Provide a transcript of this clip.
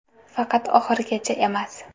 Faqat oxirigacha emas.